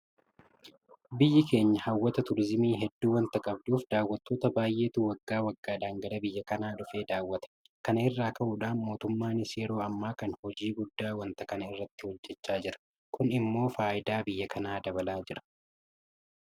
Biyyi keenya hawwata Turiizimii hedduu waanta qabduuf daawwattoota baay'eetu waggaa waggaadhaan gara biyya kanaa dhufee daawwata. Kana irraa ka'uudhaan mootummaanis yeroo ammaa kana hojii guddaa waanta kana irratti hojjechaa jira. Kun immoo faayidaa biyya kanaa dabalaa jira.